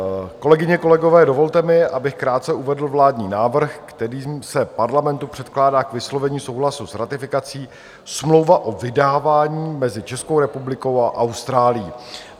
Kolegyně, kolegové, dovolte mi, abych krátce uvedl vládní návrh, kterým se Parlamentu předkládá k vyslovení souhlasu s ratifikací smlouva o vydávání mezi Českou republikou a Austrálií.